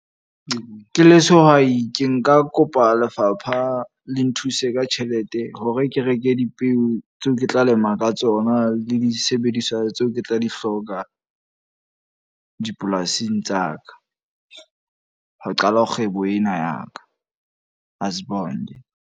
Ke le sehwai ke nka kopa lefapha le nthuse ka tjhelete. Hore ke reke dipeo tseo ke tla lema ka tsona le disebediswa tseo ke tla di hloka dipolasing tsa ka. Ho qala kgwebo ena ya ka. Asiy'bonge.